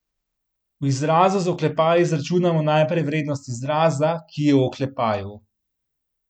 V izrazu z oklepaji izračunamo najprej vrednost izraza, ki je v oklepaju.